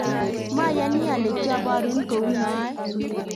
mayani ale kiaborun kou noe